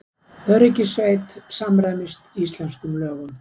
Öryggissveit samræmist íslenskum lögum